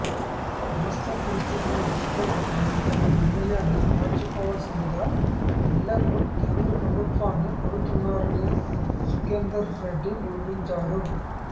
వాస్తవ పరిస్థితులను దృష్టిలో పెట్టుకుని తమ నిర్ణయాన్ని మార్చుకోవలసిందిగా మిల్లర్లు కేంద్ర ప్రభుత్వాన్ని కోరుతున్నారని సుఖేందర్ రెడ్డి వివరించారు